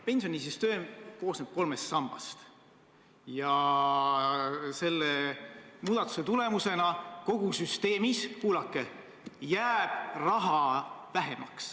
Pensionisüsteem koosneb kolmest sambast ja selle muudatuse tulemusena kogu süsteemis – kuulake!